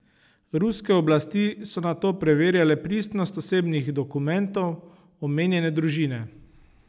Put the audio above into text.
Ruske oblasti so nato preverjale pristnost osebnih dokumentov omenjene družine.